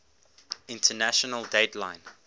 international date line